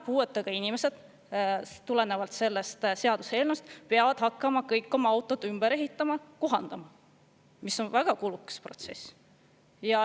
Puuetega inimesed peavad selle seaduseelnõu kohaselt kõik hakkama oma autot ümber ehitama, kohandama, mis on väga kulukas protsess.